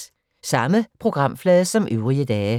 Samme programflade som øvrige dage